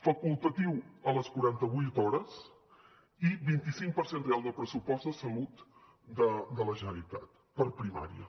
facultatiu a les quaranta vuit hores i vint cinc per cent real del pressupost de salut de la generalitat per a primària